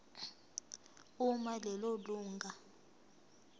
uma lelo lunga